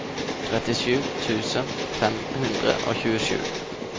trettisju tusen fem hundre og tjuesju